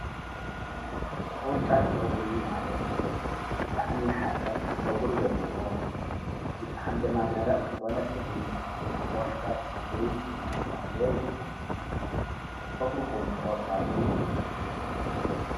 ዀርጫት ፆጕሪ ማለት ብቓዕሚሓሰብቲ ፀጕር ዘለዎ ብጥዕም ደማዳራእ ዘኾነ ፀጕሪ ዀርጫት ጸጕሪ ናጻለ ይዝወን ጸጕሩኹም ዀርጫት ብዩ